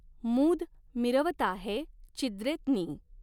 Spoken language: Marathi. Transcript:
मूद मिरवताहे चिद्रेत्नीं।